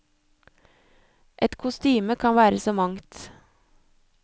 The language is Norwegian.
Et kostyme kan være så mangt.